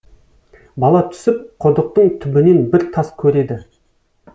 бала түсіп құдықтың түбінен бір тас көреді